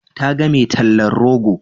Ta ga mai tallan rogo.